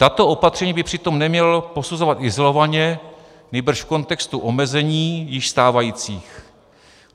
Tato opatření by přitom neměl posuzovat izolovaně, nýbrž v kontextu omezení již stávajících.